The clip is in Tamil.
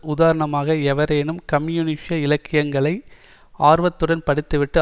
உதாரணமாக எவரேனும் கம்யூனிச இலக்கியங்களை ஆர்வத்துடன் படித்து விட்டு